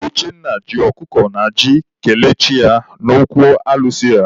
Uchenna ji ọkụkọ na ji kelee chi ya n'okwu alụsị ya.